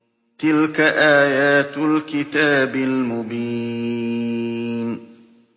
تِلْكَ آيَاتُ الْكِتَابِ الْمُبِينِ